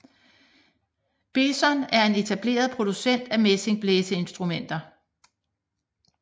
Besson er en etableret producent af messingblæseinstrumenter